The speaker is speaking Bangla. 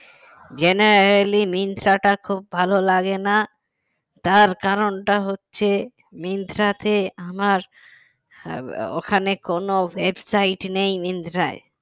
generally মিন্ত্রাটা খুব ভালো লাগে না তার কারণটা হচ্ছে মিন্ত্রাতে আমার আহ ওখানে কোন website নেই মিন্ত্রার